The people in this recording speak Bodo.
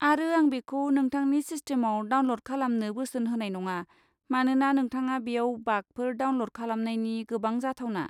आरो आं बेखौ नोंथांनि सिस्टेमाव डाउनल'ड खालामनो बोसोन होनाय नङा, मानोना नोंथाङा बेयाव बागफोर डाउनल'ड खालामनायनि गोबां जाथावना।